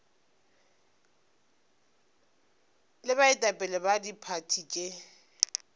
le baetapele ba diphathi tše